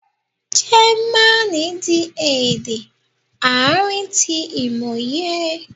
Jẹmánì di ede aarin ti imoye